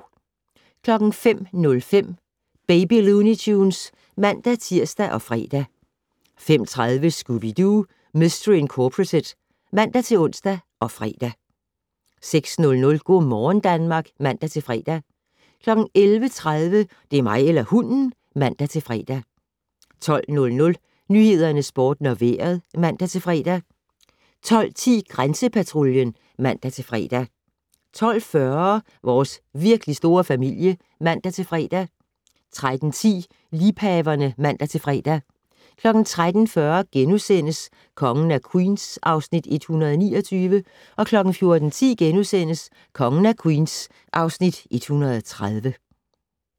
05:05: Baby Looney Tunes (man-tir og fre) 05:30: Scooby-Doo! Mistery Incorporated (man-ons og fre) 06:00: Go' morgen Danmark (man-fre) 11:30: Det er mig eller hunden! (man-fre) 12:00: Nyhederne, Sporten og Vejret (man-fre) 12:10: Grænsepatruljen (man-fre) 12:40: Vores virkelig store familie (man-fre) 13:10: Liebhaverne (man-fre) 13:40: Kongen af Queens (Afs. 129)* 14:10: Kongen af Queens (Afs. 130)*